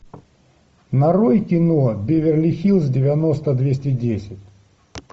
нарой кино беверли хиллз девяносто двести десять